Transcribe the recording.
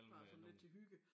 Bare sådan lidt til hygge